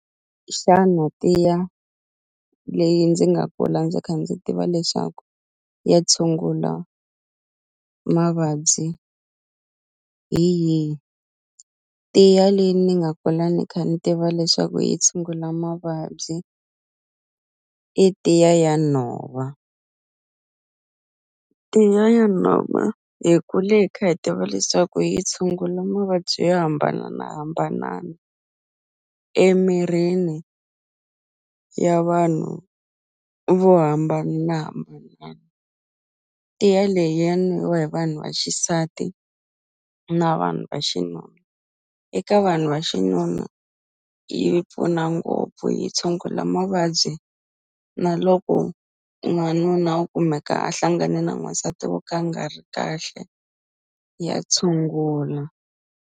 Xana tiya leyi ndzi nga kula ndzi kha ndzi tiva leswaku ya tshungula mavabyi hi yi tiya leyi ni nga kula ni kha ni tiva leswaku yi tshungula mavabyi i tiya ya nhova tiya ya nhova hi kule hi kha hi tiva leswaku yi tshungula mavabyi yo hambananahambanana emirini ya vanhu vo hambana tiya leyi ya nwiwa hi vanhu va xisati na vanhu va xinuna eka vanhu va xinuna yi pfuna ngopfu yi tshungula mavabyi na loko n'wanuna wo kumeka a hlangane na n'wasati wo ka a nga ri kahle ya tshungula.